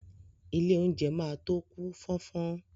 Ilé oúnjẹ máa tó kú fọ́nfọ́n.